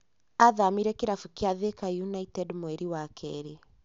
Athamĩire kĩrabu kia Thika United mweri wa keerĩ.